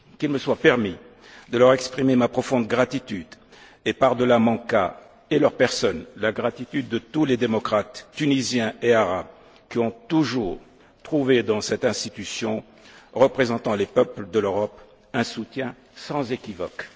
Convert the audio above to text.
Qu'il me soit permis de leur exprimer ma profonde gratitude et, par delà mon cas et leurs personnes, la gratitude de tous les démocrates tunisiens et arabes qui ont toujours trouvé dans cette institution représentant les peuples de l'Europe un soutien sans équivoque.